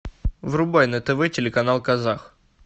врубай на тв телеканал казах